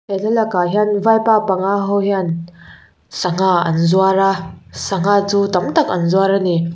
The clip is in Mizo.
he thlalakah hian vaipa panga ho hian sangha an zuar a sangha chu tam tak an zuar a ni.